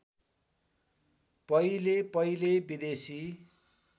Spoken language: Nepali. पहिले पहिले विदेशी